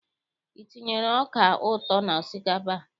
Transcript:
I tinyere ọka ụtọ n'osikapa a?